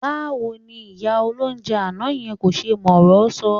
Báwo ni ìyá olóunjẹ àná yẹn kò ṣe mọ ọ̀rọ́ sọ?